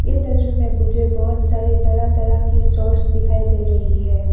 ये तस्वीर में मुझे बहुत सारे तरह तरह की सॉस दिखाई दे रही है।